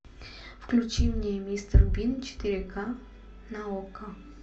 включи мне мистер бин четыре ка на окко